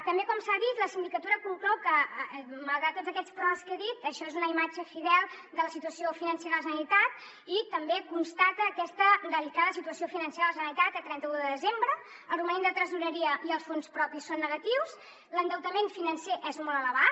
també com s’ha dit la sindicatura conclou que malgrat tots aquests peròs que he dit això és una imatge fidel de la situació financera de la generalitat i també constata aquesta delicada situació financera de la generalitat a trenta un de desembre el romanent de tresoreria i els fons propis són negatius l’endeutament financer és molt elevat